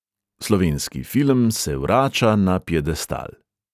Slovenski film se vrača na piedestal.